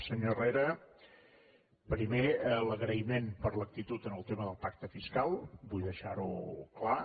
senyor herrera primer l’agraïment per l’actitud en el tema del pacte fiscal vull deixar ho clar